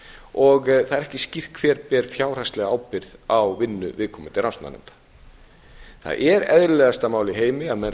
og það er ekki skýrt hver ber fjárhagslega ábyrgð á vinnu viðkomandi rannsóknarnefnda það er eðlilegasta mál í heimi að menn